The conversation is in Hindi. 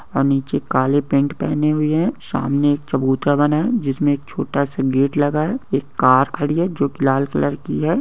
और नीचे काले पेंट पहने हुए है सामने एक चबूतरा बना हुआ है जिसमे छोटा सा गेट लगा है एक कार खड़ी है जो की लाल कलर की है।